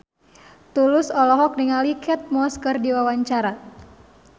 Tulus olohok ningali Kate Moss keur diwawancara